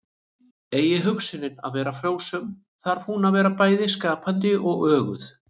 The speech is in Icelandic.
Eigi hugsunin að vera frjósöm þarf hún að vera bæði skapandi og öguð.